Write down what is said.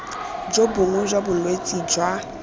jo bongwe jwa bolwetse jwa